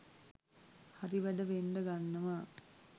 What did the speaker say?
හරි වැඩ වෙන්ඩ ගන්නවා